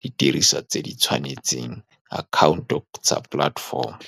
di diriswa tse di tshwanetseng, account-o tsa platform-o.